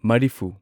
ꯃꯔꯤꯐꯨ